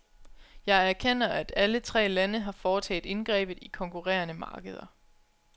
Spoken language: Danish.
Jeg erkender, at alle tre lande har foretaget indgrebet i konkurrerende markeder.